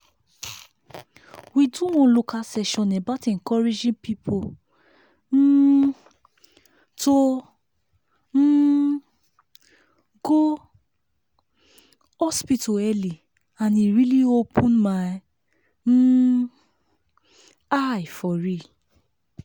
we do one local session about encouraging people um to um go hospital early and e really open my um eye for real.